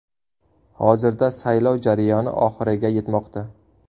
Hozirda saylov jarayoni oxiriga yetmoqda.